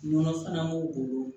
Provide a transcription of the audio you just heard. Nɔgɔ fana b'u bolo